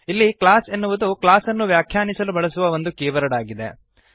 ಇಲ್ಲಿ ಕ್ಲಾಸ್ ಎನ್ನುವುದು ಕ್ಲಾಸ್ಅನ್ನು ವ್ಯಾಖ್ಯಾನಿಸಲು ಬಳಸುವ ಒಂದು ಕೀವರ್ಡ್ ಆಗಿದೆ